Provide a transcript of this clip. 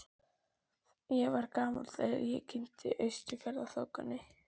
Ég var ekki gamall þegar ég kynntist Austfjarðaþokunni.